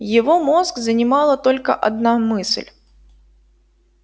его мозг занимала только одна мысль